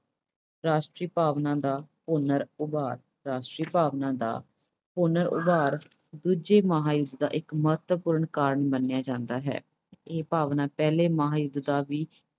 ਰਾਸ਼ਟਰੀ ਭਾਵਨਾ ਦਾ ਪੁਨਰ ਉਭਾਰ। ਰਾਸ਼ਟਰੀ ਭਾਵਨਾ ਦਾ ਪੁਨਰ ਉਭਾਰ ਦੂਜੇ ਮਹਾਂਯੁੱਧ ਦਾ ਇੱਕ ਮਹੱਤਵਪੂਰਨ ਕਾਰਨ ਮੰਨਿਆ ਜਾਂਦਾ ਹੈ। ਇਹ ਭਾਵਨਾ ਪਹਿਲੇ ਮਹਾਂਯੁੱਧ ਦਾ ਵੀ